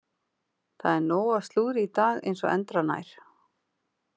Það er nóg af slúðri í dag eins og endranær.